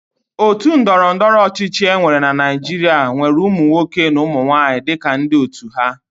Otu ndọrọndọrọ ọchịchị enwere na Naịjirịa nwere ụmụnwoke na ụmụnwanyị dịka ndị otu ha.